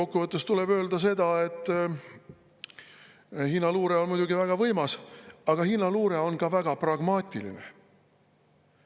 Kokku võttes tuleb öelda seda, et Hiina luure on muidugi väga võimas, aga Hiina luure on ka väga pragmaatiline.